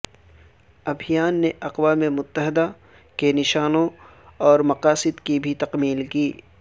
ابھیان نے اقوام متحدہ کے نشانوں اور مقاصد کی بھی تکمیل کی